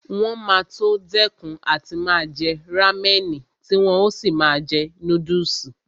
Wọn máa tó dẹ́kun àti máa jẹ rámẹ̀nì tí wọn ó sì máa jẹ núdùsì